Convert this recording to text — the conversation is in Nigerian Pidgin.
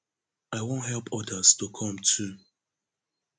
i wan help odas to come too